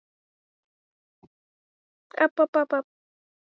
Irma, hvað er opið lengi á þriðjudaginn?